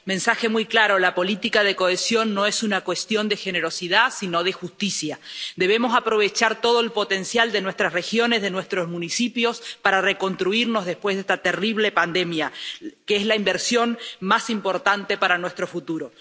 Señor presidente, comisaria, el mensaje es muy claro la política de cohesión no es una cuestión de generosidad, sino de justicia. Debemos aprovechar todo el potencial de nuestras regiones, de nuestros municipios, para reconstruirnos después de esta terrible pandemia, ya que es la inversión más importante para nuestro futuro.